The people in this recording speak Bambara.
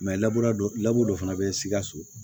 dɔ fana bɛ sikaso